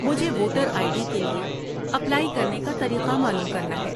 مجھے voter I D کے لیے اپلائی کرنے کا طریقہ معلوم کرنا ہے۔